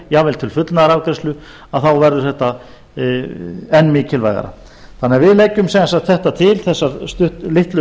jafnvel til fullnaðarafgreiðslu þá verður þetta enn mikilvægara við leggjum sem sagt þetta til þessar litlu